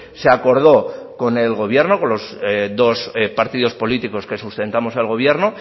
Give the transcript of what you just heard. se acordó con el gobierno con los dos partidos políticos que sustentamos el gobierno